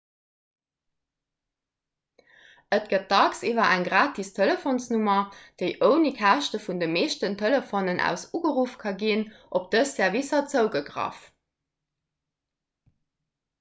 et gëtt dacks iwwer eng gratis telefonsnummer déi ouni käschte vun de meeschten telefonen aus ugeruff ka ginn op dës servicer zougegraff